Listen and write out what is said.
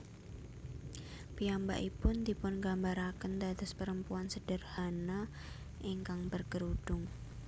Piyambakipun dipungambarakén dados perempuan sederhana ingkang berkerudung